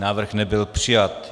Návrh nebyl přijat.